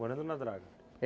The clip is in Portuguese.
Morando na draga? É